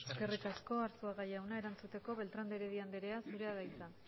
eskerrik asko eskerrik asko arzuaga jauna erantzuteko beltrán de heredia anderea zurea da hitza